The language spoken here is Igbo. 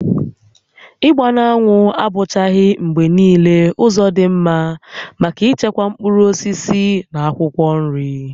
Ịgba n'anwụ abụchaghị mgbe niile ụzọ dị mma maka ichekwa mkpụrụ osisi na akwụkwọ nri